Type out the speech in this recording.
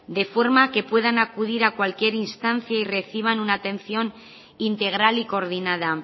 de forma que puedan acudir a cualquier instancia y reciban una atención integral y coordinada